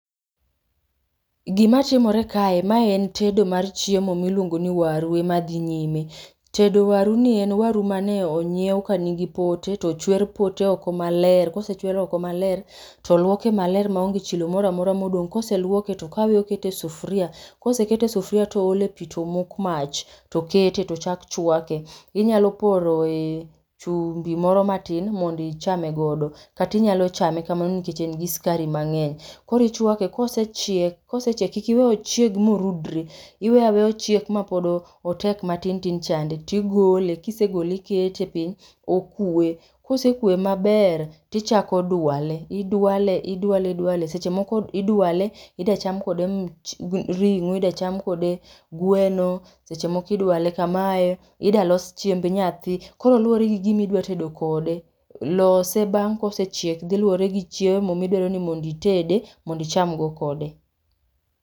Gima tim ore kae mae en tedo mar chiemo miluongo ni waru ema dhi nyime. Tedo waru nie en waru mane onyiew kanigi pote to ochwer pote oko maler. Kose chwer oko maler to oluoke maler maonge chilo moro amora modong'. Koseluoke to okaw okete e sufuria to oole pi to omok mach to okete to ochak chwake. Inyalo poroe chumbi moro matin mondo ichame godo kata inyaölo chame kamano nikech en gi sikari mang'eny. Koro ichuake kosechiek kosechiek kik iwe ochieg morudre, iweyo aweya ochiek mapod otek matin tin chande to igole, ka isegole ikete piny, okwe. Ka osekwe maber to ichako dwale, idwale idwale seche moko idwale idwa cham kode ring'o, idwa cham kode gweno seche moko idwale kamae idwa los chiemb nyathi. Koro luwore gi gima idwa tedo kode. Lose bang kosechiek dhi luore gi chiemo midwaro ni mondo itede mondo icham go kode.